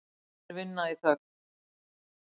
Þeir vinna í þögn.